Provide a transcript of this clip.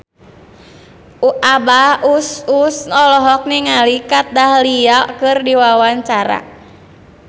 Abah Us Us olohok ningali Kat Dahlia keur diwawancara